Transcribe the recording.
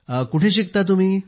कुठे शिकता तुम्ही